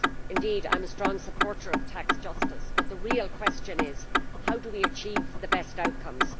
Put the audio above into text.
Indeed I am a strong supporter of tax justice, but the real question is how do we achieve the best outcomes?